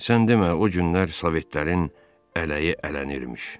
Sən demə o günlər sovetlərin ələyi ələnilmiş.